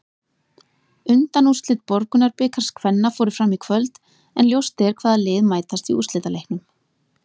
Undanúrslit Borgunarbikars kvenna fóru fram í kvöld, en ljóst er hvaða lið mætast í úrslitaleiknum.